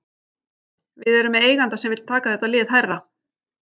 Við erum með eiganda sem vill taka þetta lið hærra.